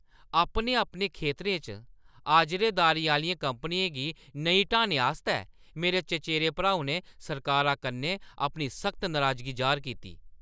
अपने-अपने खेतरें च अजारेदारी आह्‌लियें कंपनियें गी नेईं हटाने आस्तै मेरे चचेरे भ्राऊ ने सरकारा कन्नै अपनी सख्त नराजगी जाह्‌र कीती ।